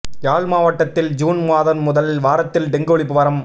யாழ் மாவட்டத்தில் ஜூன் மாதம் முதல் வாரத்தில் டெங்கு ஒழிப்பு வாரம்